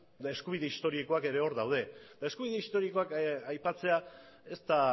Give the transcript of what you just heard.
eskubide historikoak ere hor daude eta eskubide historikoak aipatzea ez da